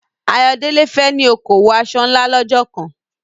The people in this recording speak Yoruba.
Ayodele fẹ́ ní okòwò aṣọ ńlá lọ́jọ́ kan.